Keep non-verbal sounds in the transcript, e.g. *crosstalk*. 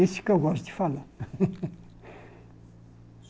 Esse que eu gosto de falar. *laughs*